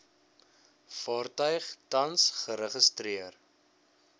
vaartuig tans geregistreer